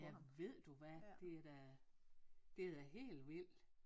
Ja ved du hvad det er da det er da helt vildt